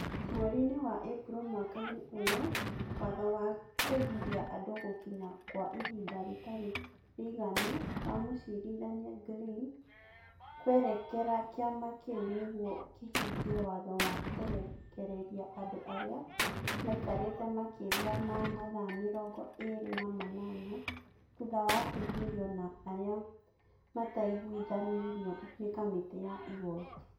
Mweri-inĩ wa Ĩpuro mwaka-inĩ ũyũ, watho wa kũgiria andũ gũkinya kwa ihinda rĩtarĩ rĩiganu wa Mũcirithania Glynn kwerekera kĩama kĩu nĩguo kĩhingie watho wa kũrekereria andũ arĩa maikarĩte makĩria ma mathaa mĩrongo ĩĩrĩ na manana thutha wa kũingĩrio na arĩa mataiguithanirio nĩ kamĩtĩ ya igooti